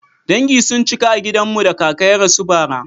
Dangi sun cika a gidan mu da kaka ya rasu bara.